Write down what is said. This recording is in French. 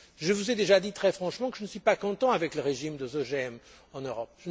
Je vous ai déjà dit très franchement que je ne suis pas satisfait du régime des OGM en Europe.